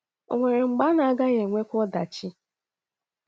Ò nwere mgbe a na - agaghị enwekwa ọdachi?